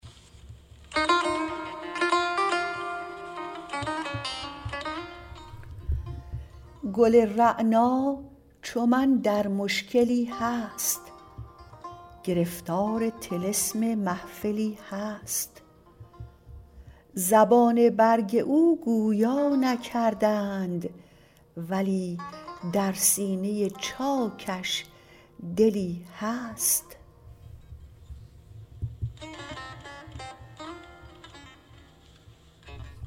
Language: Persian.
گل رعنا چو من در مشکلی هست گرفتار طلسم محفلی هست زبان برگ او گویا نکردند ولی در سینه چاکش دلی هست